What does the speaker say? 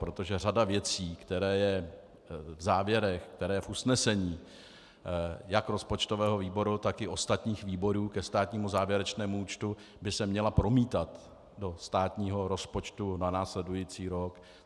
Protože řada věcí, která je v závěrech, která je v usnesení jak rozpočtového výboru, tak i ostatních výborů ke státnímu závěrečnému účtu, by se měla promítat do státního rozpočtu na následující rok.